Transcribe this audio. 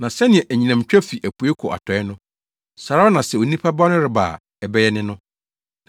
Na sɛnea anyinam twa fi apuei kɔ atɔe no, saa ara na sɛ Onipa Ba no reba a, ɛbɛyɛ ne no.